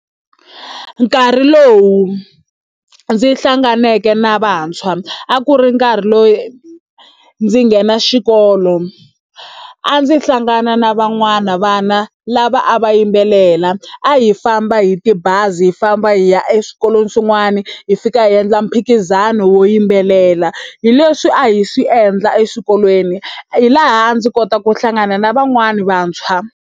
Nkarhi lowu ndzi hlanganeke na vantshwa a ku ri nkarhi loyi ndzi nghena xikolo a ndzi hlangana na van'wana vana lava a va yimbelela a hi famba hi tibazi hi famba hi ya eswikolweni swin'wani hi fika hi endla mphikizano wo yimbelela hi leswi a hi swi endla eswikolweni hi laha ndzi kotaka ku hlangana na van'wani vantshwa.